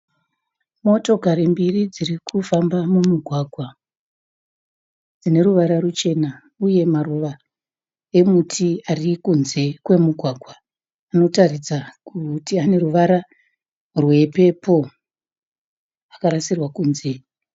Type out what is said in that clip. Motokari mbiri dzirikufamba mumugwagwa dzineruvara ruchena uye maruva emuti arikunze kwomugwagwa anotaridza kuti ane ruvara rwephephuru akarasirwa kunze.